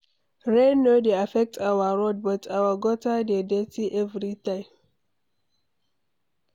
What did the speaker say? Rain no dey affect our road but our gutter dey dirty everytime.